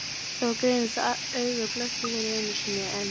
Það var greinilegt að augað blekkti hér einu sinni enn.